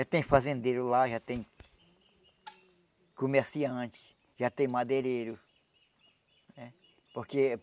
Já tem fazendeiro lá, já tem comerciante, já tem madeireiro. É? Porque